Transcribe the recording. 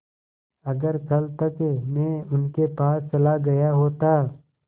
अगर कल तक में उनके पास चला गया होता